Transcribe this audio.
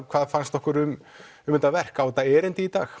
hvað fannst okkur um um þetta verk á þetta erindi í dag